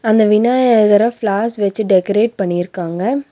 இந்த விநாயகர ஃபிளார்ஸ் வெச்சு டெக்கரேட் பண்ணிருக்காங்க.